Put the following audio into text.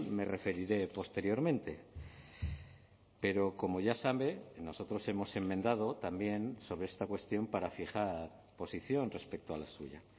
me referiré posteriormente pero como ya sabe nosotros hemos enmendado también sobre esta cuestión para fijar posición respecto a la suya